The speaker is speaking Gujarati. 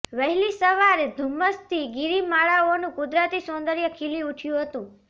વહેલી સવારે ધુમ્મસથી ગીરીમાળાઓનું કુદરતી સૌદર્ય ખીલી ઉઠ્યુ હતું